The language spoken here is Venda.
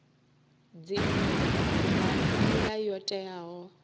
dzinnu nga nila yo teaho